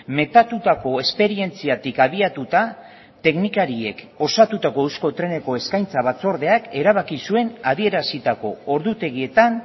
metatutako esperientziatik abiatuta teknikariek osatutako euskotreneko eskaintza batzordeak erabaki zuen adierazitako ordutegietan